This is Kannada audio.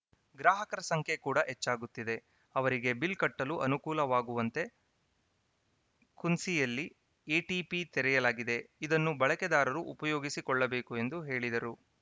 ಗ್ರಾಹಕರ ಸಂಖ್ಯೆ ಕೂಡ ಹೆಚ್ಚಾಗುತ್ತಿದೆ ಅವರಿಗೆ ಬಿಲ್‌ ಕಟ್ಟಲು ಅನುಕೂಲವಾಗುವಂತೆ ಕುಂಸಿಯಲ್ಲಿ ಎಟಿಪಿ ತೆರೆಯಲಾಗಿದೆ ಇದನ್ನು ಬಳಕೆದಾರರು ಉಪಯೋಗಿಸಿಕೊಳ್ಳಬೇಕು ಎಂದು ಹೇಳಿದರು